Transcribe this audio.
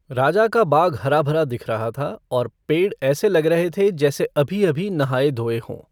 राजा का बाग हराभरा दिख रहा था और पेड़ ऐसे लग रहे थे जैसे अभी अभी नहाए धोए हों।